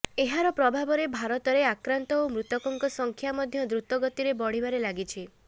ଏହାର ପ୍ରଭାବରେ ଭାରତରେ ଆକ୍ରାନ୍ତ ଓ ମୃତକଙ୍କ ସଂଖ୍ୟା ମଧ୍ୟ ଦୃତ ଗତିରେ ବଢ଼ିବାରେ ଲାଗିଛି